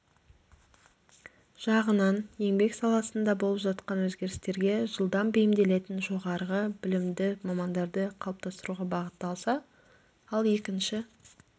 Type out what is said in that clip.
жағынан еңбек саласында болып жатқан өзгерістерге жылдам бейімделетін жоғарғы білікті мамандарды қалыптастыруға бағытталса ал екінші